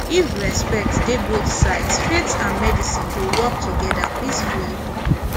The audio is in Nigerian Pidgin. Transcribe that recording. if respect dey both sides faith and medicine go work together peacefully